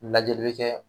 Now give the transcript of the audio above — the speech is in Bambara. Lajɛli bɛ kɛ